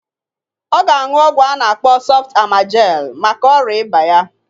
Ọ ga aṅụ ọgwụ a na-akpọ sọft amajel maka ọrịa ịba ya